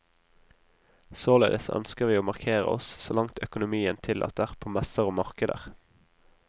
Således ønsker vi å markere oss, så langt økonomien tillater, på messer og markeder.